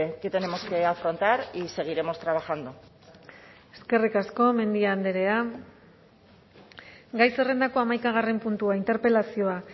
que tenemos que afrontar y seguiremos trabajando eskerrik asko mendia andrea gai zerrendako hamaikagarren puntua interpelazioa